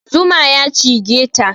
Zuma ya cigeta